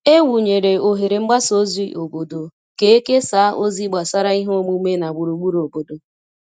E wụnyere oghere mgbasa ozi obodo ka e kesaa ozi gbasara ihe omume na gburugburu obodo.